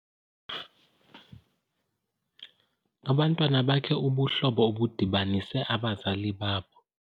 Abantwana bakhe ubuhlobo obudibanise abazali babo.